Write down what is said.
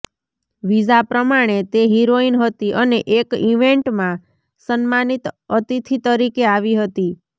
visa પ્રમાણે તે heroine હતી અને એક ઇવેન્ટમાં સન્માનિત અતિથિ તરીકે આવી હતી